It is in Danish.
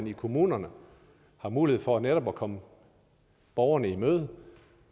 i kommunerne har mulighed for netop at komme borgerne i møde